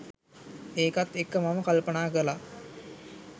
ඒකත් එක්ක මම කල්පනා කළා